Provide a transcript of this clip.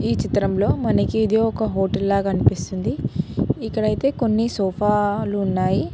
ఈ చిత్రంలో మనకి ఇది ఒక హోటల్ లా కనిపిస్తుంది ఇక్కడైతే కొన్ని సోఫా లున్నాయి.